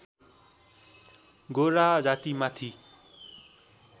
गोरा जातीमाथि